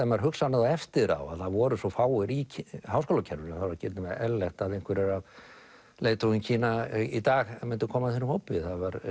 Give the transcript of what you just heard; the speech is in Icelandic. maður hugsar um það eftir á að það voru svo fáir í háskólakerfinu það var ekki nema eðlilegt að einhverjir af leiðtogum Kína í dag myndu koma úr þeim hópi